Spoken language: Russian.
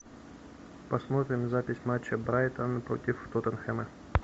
посмотрим запись матча брайтон против тоттенхэма